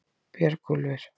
Björgúlfur